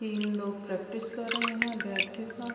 تین لوگ پریکٹس کر رہے ہے۔ بٹ کے ساتھ--